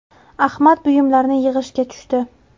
Ahmad buyumlarini yig‘ishga tushdi.